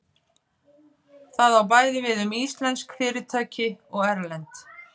Það á bæði við um íslensk fyrirtæki og erlend.